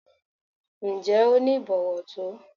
Ǹjẹ́ o ní ìbọ̀wọ̀ tó?